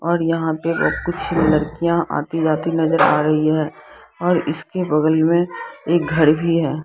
और यहाँ पे कुछ लड़कियां आती जाती नजर आ रही है और इसके बगल मे एक घर भी है।